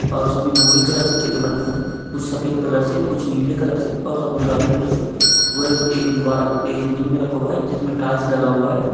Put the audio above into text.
और सभी भूरे कलर से चित्र बने हुए है कुछ सफ़ेद कलर से कुछ नीले कलर से और सब गुलाबी कलर से एक दीवाल एक जमीन में रखा हुआ है जिस में टाइल्स लगा हुआ है।